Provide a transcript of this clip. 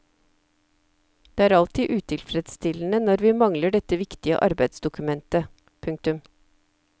Det er alltid utilfredsstillende når vi mangler dette viktige arbeidsdokumentet. punktum